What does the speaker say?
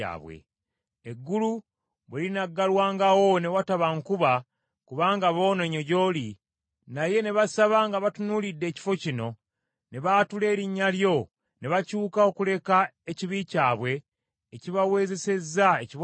“Eggulu bwe linaggalwangawo ne wataba nkuba, kubanga boonoonye gy’oli, naye ne basaba nga batunuulidde ekifo kino, ne baatula erinnya lyo, ne bakyuka okuleka ekibi kyabwe ekibaweezesezza ekibonerezo,